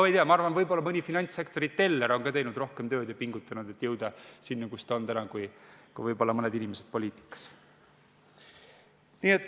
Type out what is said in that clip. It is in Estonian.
Ma ei tea, võib-olla on ka mõni finantssektori teller teinud tööd ja pingutanud rohkem, et jõuda sinna, kus ta täna on, kui võib-olla mõned inimesed poliitikas.